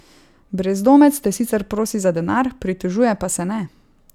Brezdomec te sicer prosi za denar, pritožuje pa se ne.